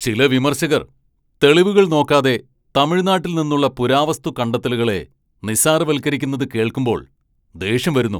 ചില വിമർശകർ തെളിവുകൾ നോക്കാതെ തമിഴ്നാട്ടിൽ നിന്നുള്ള പുരാവസ്തു കണ്ടെത്തലുകളെ നിസ്സാരവൽക്കരിക്കുന്നത് കേൾക്കുമ്പോ ദേഷ്യം വരുന്നു.